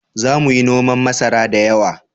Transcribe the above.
Za mu yi noman masara da yawa